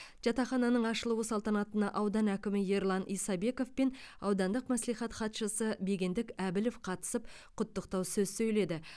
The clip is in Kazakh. жатақхананың ашылуы салтанатына аудан әкімі ерлан исабеков пен аудандық мәслихат хатшысы бегендік әбілов қатысып құттықтау сөз сөйледі